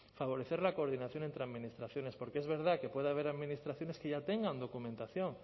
favorecer la coordinación entre administraciones porque es verdad que puede haber administraciones que ya tengan documentación